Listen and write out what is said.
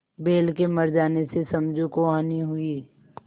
बैल के मर जाने से समझू को हानि हुई